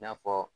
I n'a fɔ